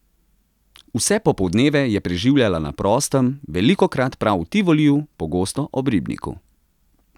Vse popoldneve je preživljala na prostem, velikokrat prav v Tivoliju, pogosto ob ribniku.